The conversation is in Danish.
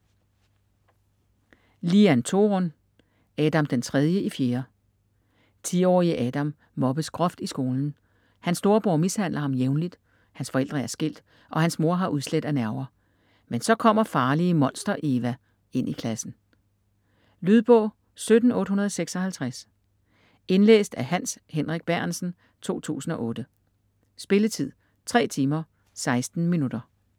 Lian, Torun: Adam den tredje i fjerde 10-årige Adam mobbes groft i skolen, hans storebror mishandler ham jævnligt, hans forældre er skilt og hans mor har udslæt af nerver. Men så kommer farlige Monster-Eva ind i klassen. Lydbog 17856 Indlæst af Hans Henrik Bærentsen, 2008. Spilletid: 3 timer, 16 minutter.